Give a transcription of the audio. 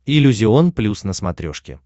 иллюзион плюс на смотрешке